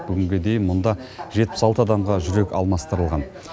бүгінге дейін мұнда жетпіс алты адамға жүрек алмастырылған